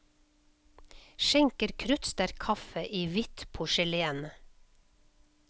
Skjenker kruttsterk kaffe i hvitt porselen.